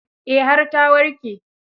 Eh, har ta warke.